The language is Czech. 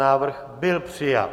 Návrh byl přijat.